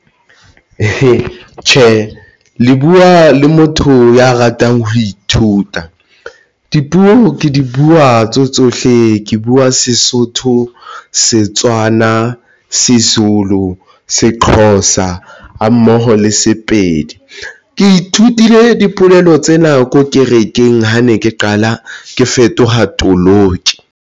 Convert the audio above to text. Tjhe, le buwa le motho ya ratang ho ithuta dipuo. Ke di buwa tseo tsohle ke buwa seSotho, seTswana a seZulu, seXhosa ha mmoho le Sepedi. Ke ithutile dipolelo tse nako kerekeng. Ha ne ke qala ke fetoha toloki.